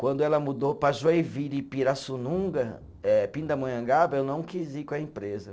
Quando ela mudou para Joinville e Pirassununga eh, Pindamonhangaba, eu não quis ir com a empresa.